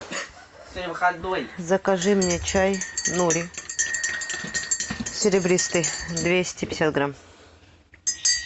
закажи мне чай нури серебристый двести пятьдесят грамм